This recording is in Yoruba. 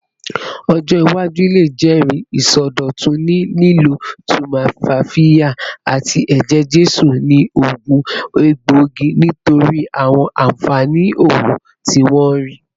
Ọjọ iwaju le jẹri isọdọtun ni lilo tumfafiya ati eje-jesu ni oogun egboigi nitori awọn anfani oogun ti wọn rii